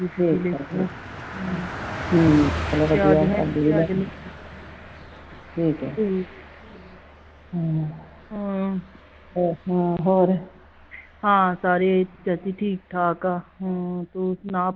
ਚਾਚੀ ਠੀਕ ਠਾਕ ਆ ਹਮ ਤੂੰ ਸੁਣਾ